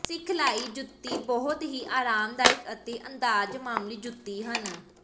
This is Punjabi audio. ਸਿਖਲਾਈ ਜੁੱਤੀ ਬਹੁਤ ਹੀ ਆਰਾਮਦਾਇਕ ਅਤੇ ਅੰਦਾਜ਼ ਮਾਮੂਲੀ ਜੁੱਤੀ ਹਨ